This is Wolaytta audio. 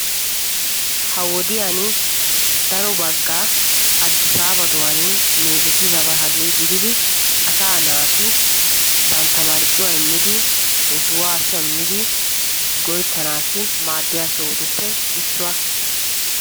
Ha wodiyan daro bagaa meezettidaba gididdi asaa naati bantta marccuwa immiddi shamiddi go'ettana koshoyabattuppe issuwa.